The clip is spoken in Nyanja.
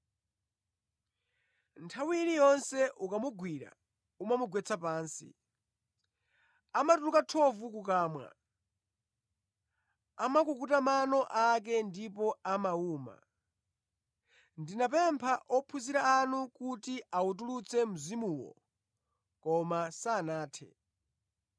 Nthawi iliyonse ukamugwira umamugwetsa pansi. Amatuluka thovu kukamwa, amakukuta mano ake ndipo amawuma. Ndinapempha ophunzira anu kuti awutulutse mzimuwo, koma sanathe.”